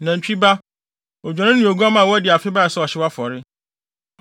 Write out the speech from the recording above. nantwi ba, odwennini ne oguamma a wadi afe bae sɛ ɔhyew afɔre;